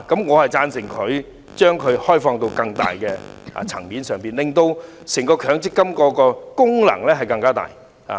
我贊同將強積金擴闊至更大的層面，令整個強積金制度的功能更大。